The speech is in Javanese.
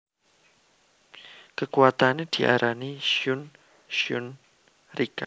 Kekuwatane diarani Shun Shun Rikka